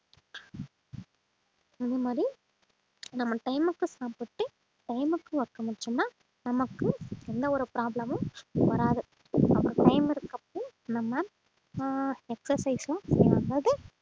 அதே மாதிரி நம்ம time க்கு சாப்பிட்டு time க்கு work முடிச்சோம்ன்னா நமக்கு எந்த ஒரு problem உம் வராது நம்ம ஆஹ் exercise உம் செய்யும்போது